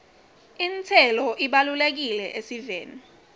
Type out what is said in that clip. intselo ibalulekile esiveni